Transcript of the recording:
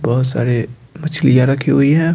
बहुत सारे मछलियां रखी हुई है।